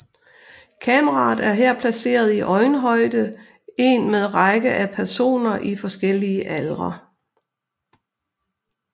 Kameraet er her placeret i øjenhøjde en med række af personer i forskellige aldre